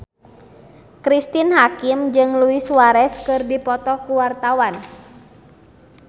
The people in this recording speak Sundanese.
Cristine Hakim jeung Luis Suarez keur dipoto ku wartawan